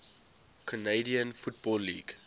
canadian football league